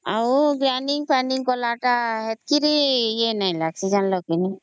ଆଉ grinding କଲା ତା ଏତେ ବି ଇଏ ନାଇଁ ଲଗସଇ ଜାଣିଲା କି !...